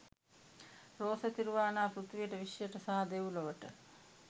රෝස තිරුවානා පෘථිවියට, විශ්වයට සහ දෙවිලොවට